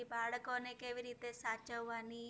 કે બાળકોને કેવી રીતે સાચવવાની